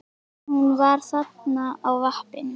En hún var þarna á vappinu.